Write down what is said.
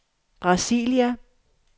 Brasilia